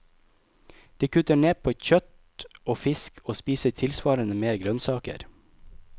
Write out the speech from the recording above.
De kutter ned på kjøtt og fisk og spiser tilsvarende mer grønnsaker.